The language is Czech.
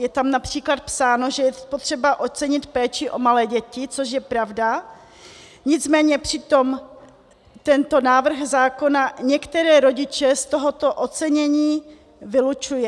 Je tam například psáno, že je potřeba ocenit péči o malé děti, což je pravda, nicméně přitom tento návrh zákona některé rodiče z tohoto ocenění vylučuje.